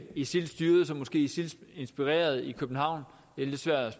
isil styret så måske isil inspireret terror i københavn det er lidt svært at